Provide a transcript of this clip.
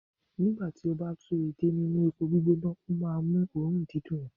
nígbà tí a bá ń tú èdè nínú epo gbígbóná, o máà ń mú òórùn dídùn wá.